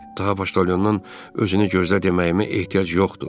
Daha Poştoyondan özünü gözlə deməyimə ehtiyac yoxdur,